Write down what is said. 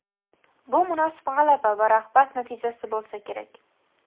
Bu munosib g‘alaba va rag‘bat natijasi bo‘lsa kerak.